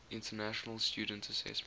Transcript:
international student assessment